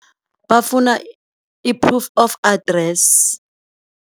Bafuna i-proof of address.